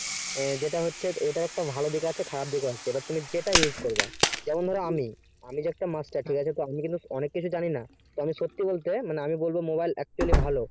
যেটা হচ্ছে এটার একটা ভালো দিক ও আছে খারাপ দিক ও আছে সেটা তুমি যেটা use করবা যেমন ধরো আমি যে একটা master ঠিক আছে তো আমি কিন্তু মানে কিছু জানিনা তবে সত্যি বলতে আমি বলবো mobile actually ভালো